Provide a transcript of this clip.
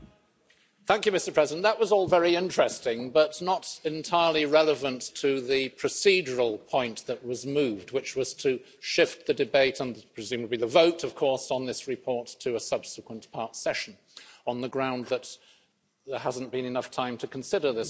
Mr President, that was all very interesting, but not entirely relevant to the procedural point that was moved, which was to shift the debate, and presumably the vote, of course, on this report to a subsequent part session on the grounds that there hasn't been enough time to consider this report.